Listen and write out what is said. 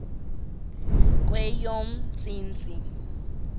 kweyomntsintsi